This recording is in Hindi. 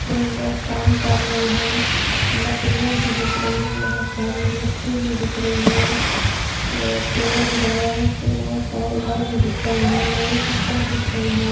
तीन लोग काम कर रहे हैं | लकड़ियाँ भी दिख रही है बहोत सारी मिट्टी भी दिख रही है और पिलर पर दिख रहा हैं | यहाँ पे बहुत सारे घर भी दिख रहे है लोहे की छड़ दिख रही है।